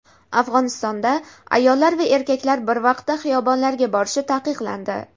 Afg‘onistonda ayollar va erkaklar bir vaqtda xiyobonlarga borishi taqiqlandi.